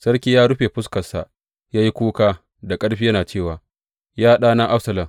Sarki ya rufe fuskarsa ya yi kuka da ƙarfi yana cewa, Ya ɗana Absalom!